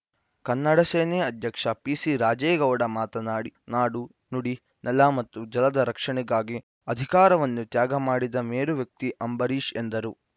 ಕನ್ನಡಸೇನೆ ಅಧ್ಯಕ್ಷ ಪಿಸಿ ರಾಜೇಗೌಡ ಮಾತನಾಡಿ ನಾಡು ನುಡಿ ನೆಲ ಮತ್ತು ಜಲದ ರಕ್ಷಣೆಗಾಗಿ ಅಧಿಕಾರವನ್ನು ತ್ಯಾಗ ಮಾಡಿದ ಮೇರು ವ್ಯಕ್ತಿ ಅಂಬರೀಷ್‌ ಎಂದರು